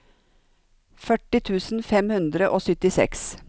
førti tusen fem hundre og syttiseks